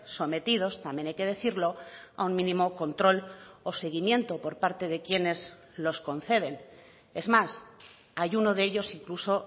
sometidos también hay que decirlo a un mínimo control o seguimiento por parte de quienes los conceden es más hay uno de ellos incluso